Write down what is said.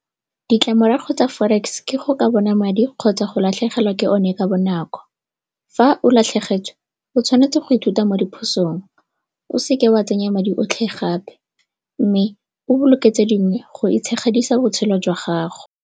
Ditlamorago tsa forex ke go ka bona madi kgotsa go latlhegelwa ke o ne ka bonako. Fa o latlhegetswe o tshwanetse go ithuta mo diphosong, o seke wa tsenya madi otlhe gape mme o boloke tse dingwe go itshegedisa botshelo jwa gago.